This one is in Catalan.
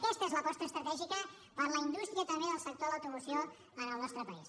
aquesta és l’aposta estratègica per a la indústria també del sector de l’automoció en el nostre país